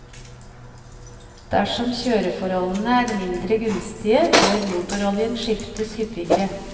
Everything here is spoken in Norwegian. Dersom kjøreforholdene er mindre gunstige, bør motoroljen skiftes hyppigere.